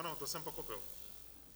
Ano, to jsem pochopil.